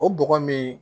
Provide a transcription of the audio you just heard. O bɔgɔ min